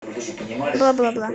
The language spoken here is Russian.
бла бла бла